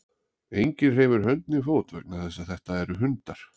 Enginn hreyfir hönd né fót vegna þess að þetta eru hundar.